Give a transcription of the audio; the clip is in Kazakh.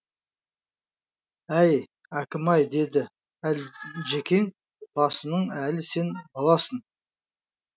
әй әкім ай деді әлжекең басының әлі сен баласың